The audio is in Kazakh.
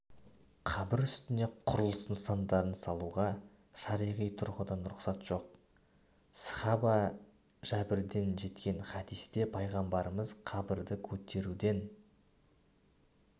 қабір үстіне құрылыс нысандарын салуға шариғи тұрғыдан рұқсат жоқ сахаба жәбирден жеткен хадисте пайғамбарымыз қабірді көтеруден